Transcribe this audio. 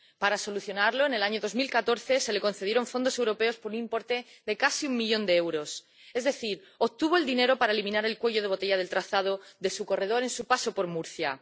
Para solucionarlo, en el año 2014 se le concedieron fondos europeos por un importe de casi un millón de euros, es decir, obtuvo el dinero para eliminar el cuello de botella del trazado de su corredor en su paso por Murcia.